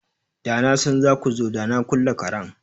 Da na san za ku zo da na kulle karen.